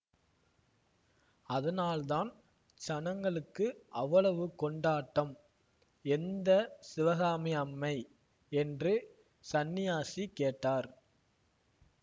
அதனால்தான் ஜனங்களுக்கு அவ்வளவு கொண்டாட்டம் எந்த சிவகாமி அம்மை என்று சந்நியாசி கேட்டார்